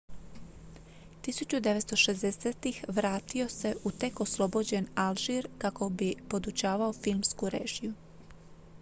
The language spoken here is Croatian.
1960-ih vratio se u tek oslobođen alžir kako bi podučavao filmsku režiju